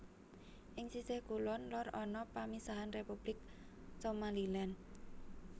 Ing sisih kulon lor ana pamisahan Republik Somaliland